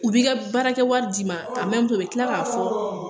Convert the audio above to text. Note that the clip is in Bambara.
U bi ka baarakɛ wari d'i ma u bi kila k'a fɔ